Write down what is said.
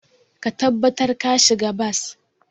Ka tabbatar ka shiga bas.